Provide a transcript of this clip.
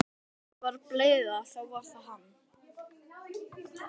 Ef einhver var bleyða þá var það hann.